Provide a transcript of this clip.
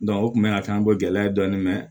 o tun bɛ na kɛ an bɔ gɛlɛya dɔɔni mɛ